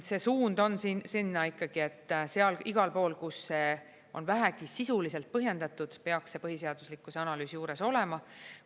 See suund on sinna ikkagi, et igal pool, kus see on vähegi sisuliselt põhjendatud, peaks see põhiseaduslikkuse analüüs juures olema.